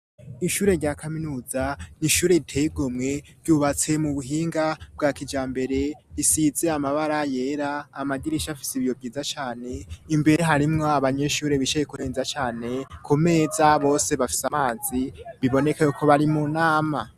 Ishure rya kaminuza n'ishure riteye igomwe ryubatse mu buhinga bwa kijambere risize amabara yera, amadirisha afise ibiyo vyiza cane, imbere harimwo abanyeshuri bicaye kurenza cane, ku meza bose bafise amazi biboneka yuko bari mu nama.